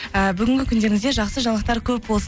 ыыы бүгінгі күндеріңізде жақсы жаңалықтар көп болсын